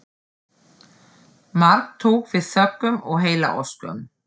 Mark tók við þökkum og heillaóskum.